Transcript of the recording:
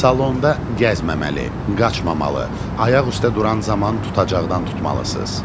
Salonda gəzməməli, qaçmamalı, ayaq üstdə duran zaman tutacaqdan tutmalısınız.